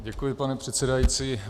Děkuji, pane předsedající.